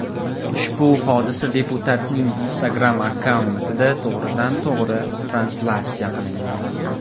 Ushbu hodisa deputatning Instagram-akkauntida to‘g‘ridan-to‘g‘ri translyatsiya qilingan.